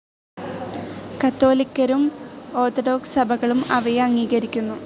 കത്തോലിക്കരും orthodox സഭകളും അവയെ അംഗീകരിക്കുന്നു.